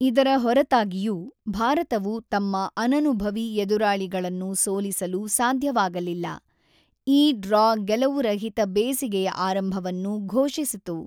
ಇದರ ಹೊರತಾಗಿಯೂ, ಭಾರತವು ತಮ್ಮ ಅನನುಭವಿ ಎದುರಾಳಿಗಳನ್ನು ಸೋಲಿಸಲು ಸಾಧ್ಯವಾಗಲಿಲ್ಲ, ಈ ಡ್ರಾ ಗೆಲುವುರಹಿತ ಬೇಸಿಗೆಯ ಆರಂಭವನ್ನು ಘೋಷಿಸಿತು.